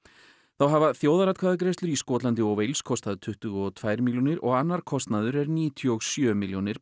þá hafa þjóðaratkvæðagreiðslur í Skotlandi og kostað tuttugu og tvær milljónir og annar kostnaður er níutíu og sjö milljónir